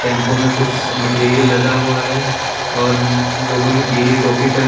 tempo में कुछ material लदा हुआ है और लोगों ने पीले टोपी पहन--